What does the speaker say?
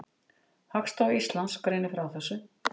Hagstofa Íslands greinir frá þessu.